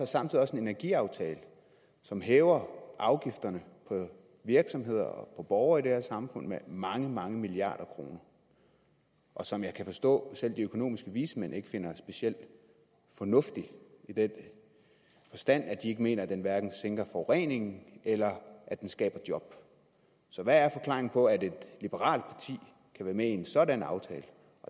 samtidig en energiaftale som hæver afgifterne for virksomheder og borgere i det her samfund med mange mange milliarder kroner og som jeg kan forstå selv de økonomiske vismænd ikke finder specielt fornuftig i den forstand at de mener at den hverken sænker forureningen eller skaber job så hvad er forklaringen på at et liberalt parti kan være med i en sådan aftale